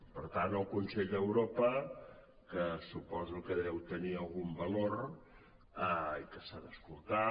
per tant el consell d’europa que suposo que deu tenir algun valor i que s’ha d’escoltar